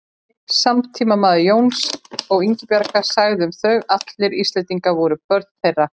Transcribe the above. Einn samtímamaður Jóns og Ingibjargar sagði um þau: Allir Íslendingar voru börn þeirra